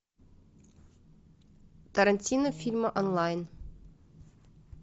тарантино фильмы онлайн